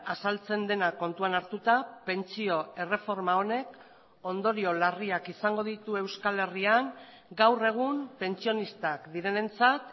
azaltzen dena kontuan hartuta pentsio erreforma honek ondorio larriak izango ditu euskal herrian gaur egun pentsionistak direnentzat